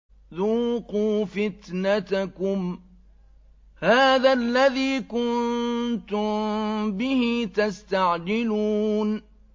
ذُوقُوا فِتْنَتَكُمْ هَٰذَا الَّذِي كُنتُم بِهِ تَسْتَعْجِلُونَ